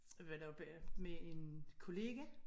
Jeg var der oppe med en kollega